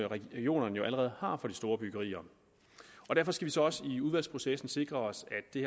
regionerne jo allerede har for de store byggerier og derfor skal så også i udvalgsprocessen sikre os at det